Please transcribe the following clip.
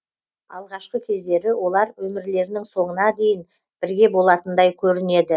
алғашқы кездері олар өмірлерінің соңына дейін бірге болатындай көрінеді